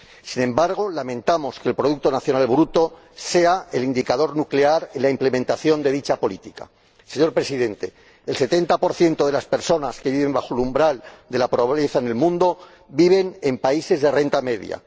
Sin embargo, lamentamos que el producto nacional bruto sea el indicador nuclear en la implementación de dicha política. Señor Presidente, el 70 de las personas que viven bajo el umbral de la pobreza en el mundo viven en países de renta media.